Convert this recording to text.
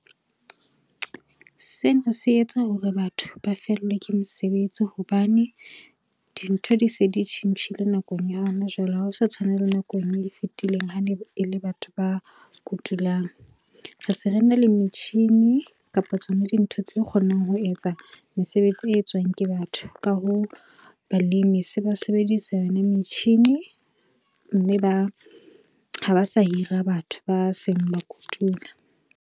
Sena se etsa hore batho ba fellwe ke mosebetsi hobane dintho di se di tjhentjhile nakong ya hona jwale, ha se tshwana le nakong e fetileng ha ne e le batho ba kotulang. Re se re na le metjhini kapa tsona dintho tse kgonang ho etsa mesebetsi e etswang ke batho, ka hoo balemi se ba sebedisa yona metjhini mme ha ba sa hira batho ba seng ba kotula.